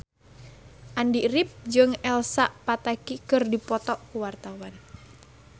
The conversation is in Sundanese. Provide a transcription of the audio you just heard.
Andy rif jeung Elsa Pataky keur dipoto ku wartawan